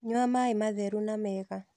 Nyua maĩi matheru na mega